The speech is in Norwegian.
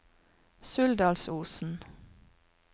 Suldalsosen